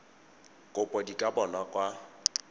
kopo di ka bonwa kwa